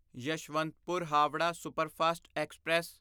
Yeshwantpur Howrah superfast express